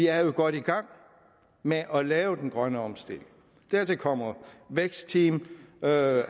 er godt i gang med at lave den grønne omstilling dertil kommer et vækstteam med